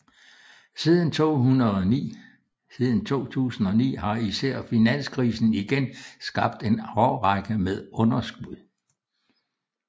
Siden 2009 har især finanskrisen igen skabt en årrække med underskud